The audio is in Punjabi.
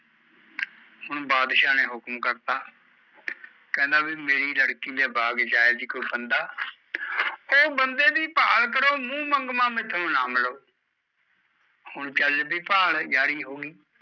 ਹੁਣ ਬਾਦਸ਼ਾਹ ਨੇ ਹੁਕਮ ਕਰਤਾ ਕਹਿੰਦਾ ਵੀ ਮੇਰੀ ਲੜਕੀ ਦੇ ਬਾਗ ਚ ਆਇਆ ਸੀ ਕੋਈ ਫੰਦਾ , ਉਹ ਬੰਦੇ ਦੀ ਭਾਲ ਕਰੋ ਮੂਹ ਮੰਗਵਾ ਮੈਥੋਂ ਇਨਾਮ ਮਿਲੂ ਹੁਣ ਚੱਲ ਪਈ ਭਾਲ ਜਾਰੀ ਹੋਗੀ